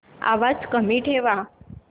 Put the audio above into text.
आवाज कमी ठेवा